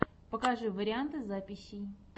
покажи варианты записей